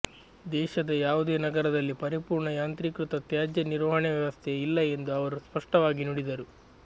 ದೇಶದ ಯಾವುದೇ ನಗರದಲ್ಲಿ ಪರಿಪೂರ್ಣ ಯಾಂತ್ರೀಕೃತ ತ್ಯಾಜ್ಯ ನಿರ್ವಹಣೆ ವ್ಯವಸ್ಥೆ ಇಲ್ಲ ಎಂದು ಅವರು ಸ್ಪಷ್ಟವಾಗಿ ನುಡಿದರು